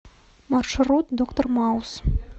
маршрут доктор маус